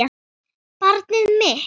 Barnið mitt.